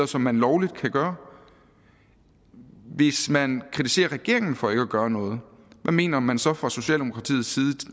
som man lovligt kan gøre hvis man kritiserer regeringen for ikke at gøre noget hvad mener man så fra socialdemokratiets side